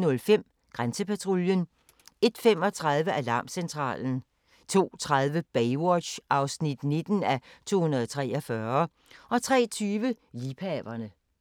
01:05: Grænsepatruljen 01:35: Alarmcentralen 02:30: Baywatch (19:243) 03:20: Liebhaverne